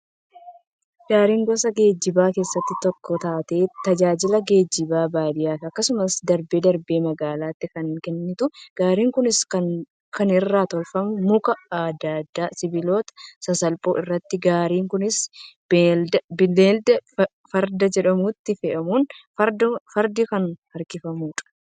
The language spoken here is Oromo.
Gaariin, gosa geejjibaa keessaa tokko taatee, tajaajila geejjibaa baadiyyaafi akkasumas darbee darbee magaalatti kan kennitu. Gaarin kunis, kan irraa tolfamu muka adda addaafi sibiloota sasalphoo irraati. Gaarin kunis, beeylada Farda jedhamutti fe'amuun, fardaan kan harkifamtudha.